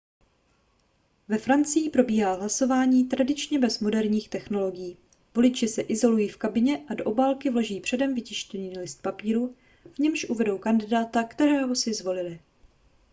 ve francii probíhá hlasování tradičně bez moderních technologií voliči se izolují v kabině a do obálky vloží předem vytištěný list papíru v němž uvedou kandidáta kterého si zvolili